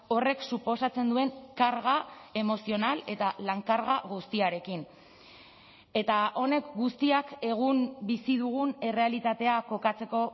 horrek suposatzen duen karga emozional eta lan karga guztiarekin eta honek guztiak egun bizi dugun errealitatea kokatzeko